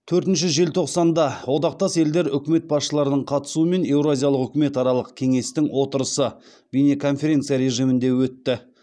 төртінші желтоқсанда одақтас елдер үкімет басшыларының қатысуымен еуразиялық үкіметаралық кеңестің отырысы бейнеконференция режимінде өтті